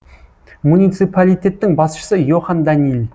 муниципалитеттің басшысы йохан даниль